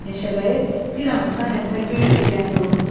Meşəbəyi bir anlığa hətta göy ürgəni də unutdu.